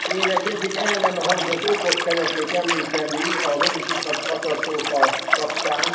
Elnök Úr, én egy eddig el nem hangzott okot szeretnék említeni a vörösiszap katasztrófa kapcsán.